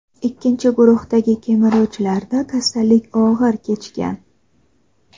ikkinchi guruhdagi kemiruvchilarda kasallik og‘ir kechgan.